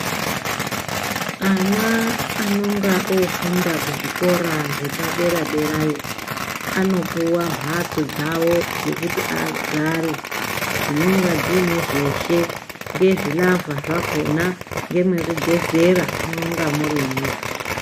Ana anonga ofunda kuzvikora zvepadera derayo anopuwa mhatso dzawo dzekuti agare dzinonga dziine zveshe ngezvi lavha zvakona ngemwekugezera munonga murimwo